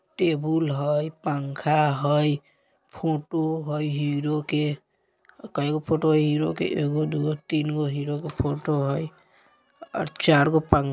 टेबुल हय पंखा हय फोटो हय हीरो के केएगो फोटो हय हीरो के एगो दु गाे तीन गो हीरो के फोटो हय चार गो पंख --